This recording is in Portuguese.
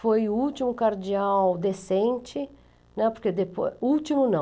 Foi o último cardeal decente né, porque depo... último não.